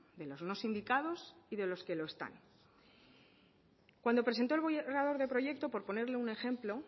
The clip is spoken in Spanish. de los no sindicados y de los que lo están cuando presentó el borrador de proyecto por ponerle un ejemplo